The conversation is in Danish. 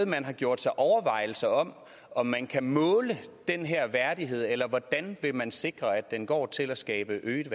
man gjort sig overvejelser om om man kan måle den her værdighed eller hvordan vil man sikre at den går til at skabe øget